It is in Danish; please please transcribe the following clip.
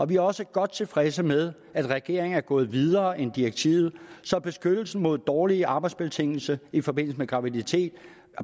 vi er også godt tilfredse med at regeringen er gået videre end direktivet så beskyttelsen mod dårlige arbejdsbetingelser i forbindelse med graviditet